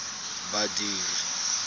badiri